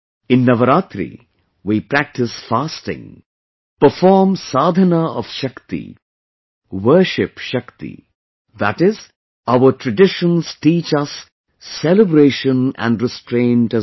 In Navratri, we practice fasting, perform sadhana of Shakti, worship Shakti...that is, our traditions teach us celebration and restraint as well